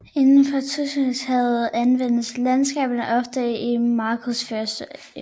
Inden for turismeerhvervet anvendes landskaberne ofte i markedsføringsøjemed